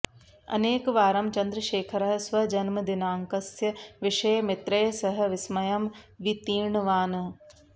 अनेकवारं चन्द्रशेखरः स्वजन्मदिनाङ्कसस्य विषये मित्रैः सह विस्मयं वितीर्णवान्